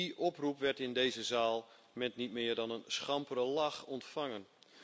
Die oproep werd in deze zaal met niet meer dan een schampere lach ontvangen.